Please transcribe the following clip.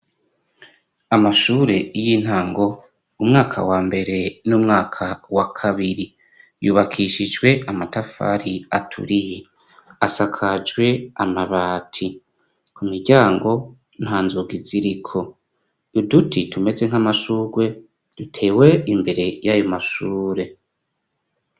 Amashure y'intango, umwaka wa mbere n'umwaka wa kabiri, yubakishijwe amatafari aturiye, asakajwe amabati, ku miryango nta nzugi iziriko, uduti tumeze nk'amashurwe dutewe imbere y'ayo mashure.